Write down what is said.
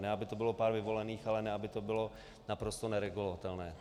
Ne aby to bylo pár vyvolených, ale ne aby to bylo naprosto neregulovatelné.